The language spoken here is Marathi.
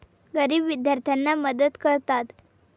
गरीब विद्यार्थ्यांना मदत करतात.